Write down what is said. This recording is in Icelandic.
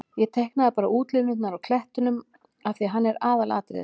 Ég teiknaði bara útlínurnar á klettinum af því að hann er ekki aðalatriðið.